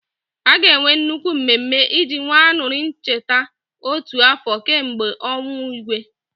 A ga-enwe nnukwu mmemme iji wee aṅuri ncheta otu afọ kemgbe ọnwụ Igwe.